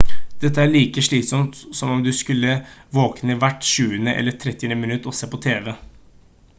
dette er like slitsomt som om du skulle våkne hvert tjuende eller trettiende minutt og se på tv